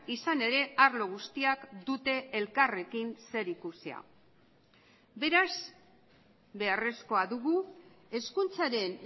izan ere arlo guztiak dute elkarrekin zerikusia beraz beharrezkoa dugu hezkuntzaren